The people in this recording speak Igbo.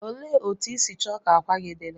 Olee otú ịsi choo ka akwa gi diri?